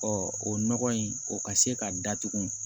o nɔgɔ in o ka se ka datugu